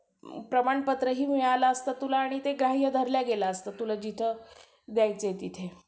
आमच्या वर्गातली पोरं चार पाच जण जास्त पोरी तसंच करायच्या. पोरं फक्त बाहेर जेवायचे.